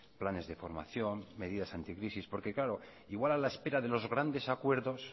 planes de formación medidas anticrisis porque claro igual a la espera de los grandes acuerdos